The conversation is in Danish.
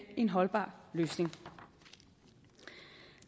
en holdbar løsning